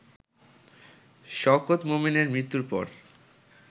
শওকত মোমেনের মৃত্যুর পর